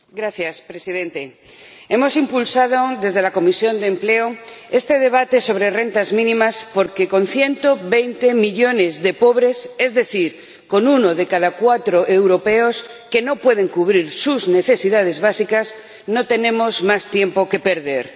Señor Presidente, la Comisión de Empleo ha impulsado este debate sobre rentas mínimas porque, con 120 millones de pobres, es decir, con uno de cada cuatro europeos que no pueden cubrir sus necesidades básicas, no tenemos más tiempo que perder.